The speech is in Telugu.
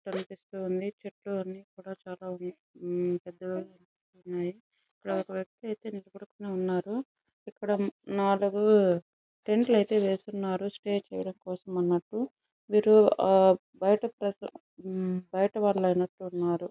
కనిపిస్తూ ఉంది . చుట్టూ అన్నీ కూడా చాలా పెద్దగా ఉన్నాయి. ఇక్కడ ఒక వ్యక్తి అయితే నిలబడుక్కొని ఉన్నారు. ఇక్కడ నాలుగు టెంట్ లు అయితే వేసి ఉన్నారు. స్టే చేయడానికి కోసం అన్నట్టు. వీళ్ళు బయటి వాళ్లు అయినట్టున్నారు.